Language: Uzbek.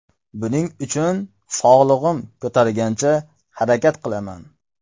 Buning uchun sog‘lig‘im ko‘targancha harakat qilaman.